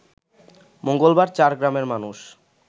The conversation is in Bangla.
মঙ্গলবার চার গ্রামের মানুষ